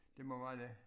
Det må være det